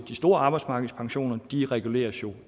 store arbejdsmarkedspensioner reguleres jo